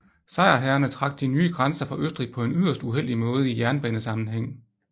Sejrherrerne trak de nye grænser for Østrig på en yderst uheldig måde i jernbanesammenhæng